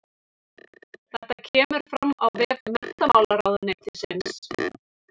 Þetta kemur fram á vef menntamálaráðuneytisins